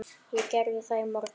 Ég gerði það í morgun.